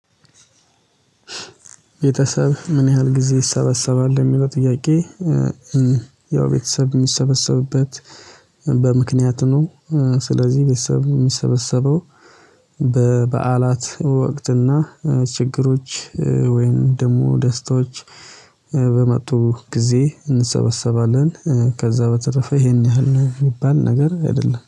ቤተሰብ ምን ያህል ጊዜ ይሰበሰባል የሚለው ጥያቄ? ያው ቤተሰብ የሚሰበሰብበት በምክንያት ነው። ስለዚህ ቤተሰብ የሚሰበሰበው በበዓላት ወቅትና ችግሮች ወይንም ደግሞ ደስታዎች። ጊዜ እንሰበሰባለን ከዛ በተረፈ ይሄን ያህል ነው የሚባል ነገር አይደለም